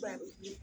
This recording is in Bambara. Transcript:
Ba